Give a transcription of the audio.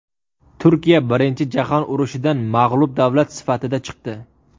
Turkiya Birinchi jahon urushidan mag‘lub davlat sifatida chiqdi.